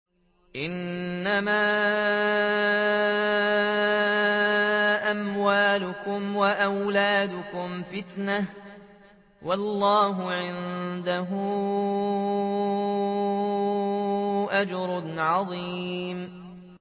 إِنَّمَا أَمْوَالُكُمْ وَأَوْلَادُكُمْ فِتْنَةٌ ۚ وَاللَّهُ عِندَهُ أَجْرٌ عَظِيمٌ